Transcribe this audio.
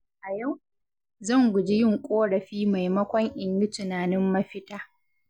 A yau, zan guji yin ƙorafi maimakon in yi tunanin mafita.